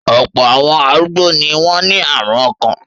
Ọ̀pọ̀ àwọn arúgbó ni wọ́n ní àrùn ọkàn.